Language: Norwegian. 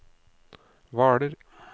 Hvaler